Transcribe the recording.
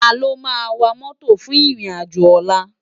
Táló má wá mòtó fún irin ájò òlà?